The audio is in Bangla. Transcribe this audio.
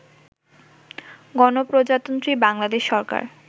গণপ্রজাতন্ত্রী বাংলাদেশ সরকার